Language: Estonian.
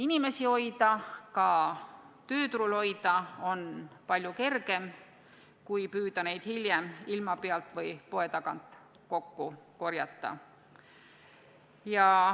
Inimesi hoida – ka tööturul hoida – on palju kergem kui püüda neid hiljem ilma pealt või poe tagant kokku korjata.